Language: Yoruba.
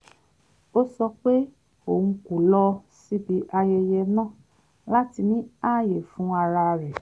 ó sọ pé òun kò lọ síbi ayẹyẹ náà láti ní ààyè fún ara rẹ̀